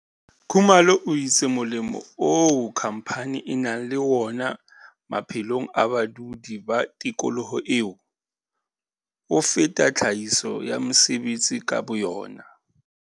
Khumalo o itse molemo oo khamphane e nang le wona maphelong a badudi ba tikoloho eo, o feta tlhahiso ya mesebetsi ka boyona.